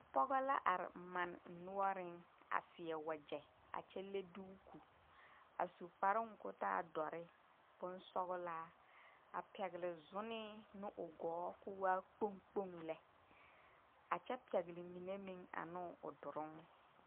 Daa poɔ la ba be ka noba yaga a are kaara a boma ka gaana filage a mare tabol poɔ ka tiwɔmo a dɔgle a tabol zu ka pɛŋ zēēre leŋ a daa poɔŋ.